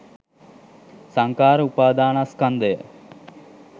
සංඛාර උපාදානස්කන්ධය